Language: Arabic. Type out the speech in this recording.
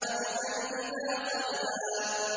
عَبْدًا إِذَا صَلَّىٰ